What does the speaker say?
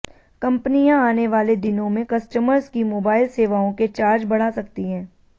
कंपनियां आने वाले दिनों में कस्टमर्स की मोबाइल सेवाओं के चार्ज बढ़ा सकती हैं